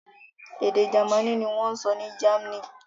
Èdè Jámánì ni wọ́n sọ ní Germany.